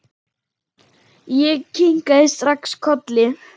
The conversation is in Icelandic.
Ég kinkaði strax kolli.